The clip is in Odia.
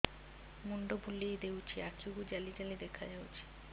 ମୁଣ୍ଡ ବୁଲେଇ ଦେଉଛି ଆଖି କୁ ଜାଲି ଜାଲି ଦେଖା ଯାଉଛି